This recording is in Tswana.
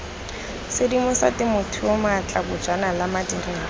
sedimosa temothuo maatla bojanala madirelo